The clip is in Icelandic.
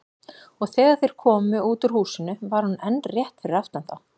Og þegar þeir komu út úr húsinu var hún enn rétt fyrir aftan þá.